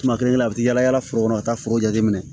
Tuma kelen-kelenna u bi taa yaala foro kɔnɔ ka taa foro jateminɛ